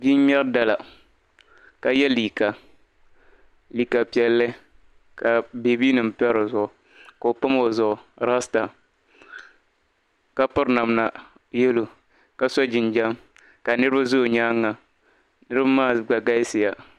Bii n-ŋmɛri dala, ka yɛ liika. Liika piɛlli, ka babinim pa di zuɣu. Ko'pam o zuɣu, rasta ka piri namda yellow. Ka so jinjam, ka niribi zo' nyaaŋa. Niriba maa gba galisiya.